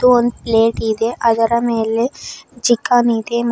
ಒಂದ್ ಪ್ಲೇಟ್ ಇದೆ ಅದರ ಮೇಲೆ ಚಿಕ್ಕನ್ ಇದೆ ಮತ್ತು--